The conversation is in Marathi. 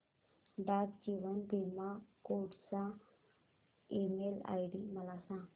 डाक जीवन बीमा फोर्ट चा ईमेल आयडी मला सांग